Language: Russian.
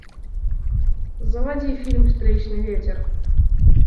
заводи фильм встречный ветер